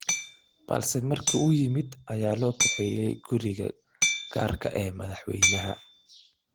Balse markii uu yimid ayaa loo kaxeeyay guriga gaarka ah ee madaxweynaha.